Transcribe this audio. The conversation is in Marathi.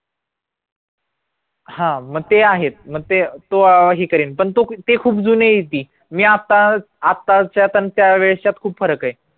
हा म ते आहेच म ते तो अं ही करेल पण ते खूप जुने येत मी आता आताच त्या त्यावेळ्चात खूप फरक ये